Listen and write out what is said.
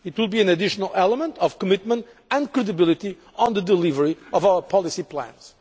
It would be an additional element of commitment and credibility on the delivery of our policy plans.